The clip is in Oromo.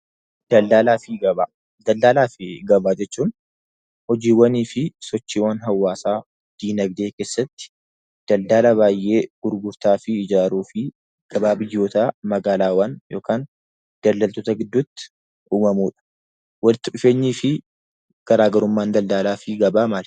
Daldalaa fi gabaa jechuun hojiiwwanii fi sochiiwwan hawaasaa dinagdee keessatti daldala baay'ee gurgurtaa fi ijaaruu fi gabaa biyyootaa magaalaawwan yookaan daldaltoota gidduutti uumamudha. Walitti dhufeenyi fi garaagarummaan daldalaa fi gabaa maali?